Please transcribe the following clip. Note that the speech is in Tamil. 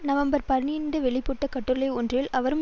நவம்பர் பனிரண்டு வெளியிட பட்ட கட்டுரை ஒன்றில் அவரும்